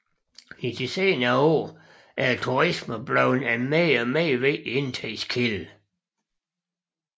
I de senere år er turisme blevet en mere og mere vigtig indtægtskilde